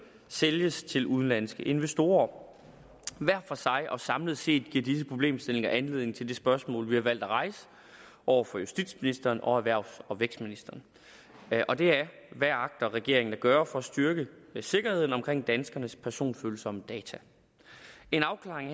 sælges til udenlandske investorer hver for sig og samlet set giver disse problemstillinger anledning til det spørgsmål vi har valgt at rejse over for justitsministeren og erhvervs og vækstministeren og det er hvad agter regeringen at gøre for at styrke sikkerheden omkring danskernes personfølsomme data en afklaring